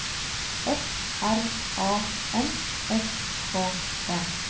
F R A N S K E